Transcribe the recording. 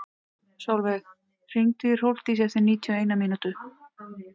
Solveig, hringdu í Hrólfdísi eftir níutíu og eina mínútur.